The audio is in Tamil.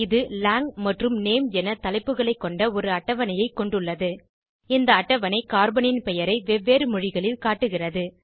இது லாங் மற்றும் நேம் என தலைப்புகளைக்கொண்ட ஒரு அட்டவணையைக் கொண்டுள்ளது இந்த அட்டவணை கார்பனின் பெயரை வெவ்வேறு மொழிகளில் காட்டுகிறது